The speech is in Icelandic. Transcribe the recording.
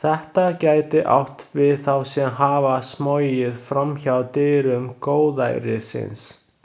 Þetta gæti átt við þá sem hafa smogið fram hjá dyrum góðærisins.